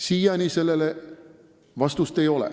Siiani sellele vastust ei ole.